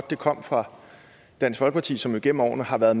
det kom fra dansk folkeparti som jo igennem årene har været